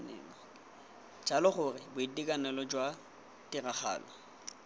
jalo gore boitekanelo jwa tiragalo